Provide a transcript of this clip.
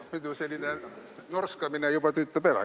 Muidu selline norskamine juba tüütab ära.